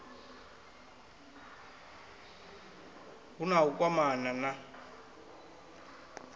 hu na u kwamana na